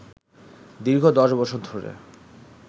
দীর্ঘ ১০ বছর ধরে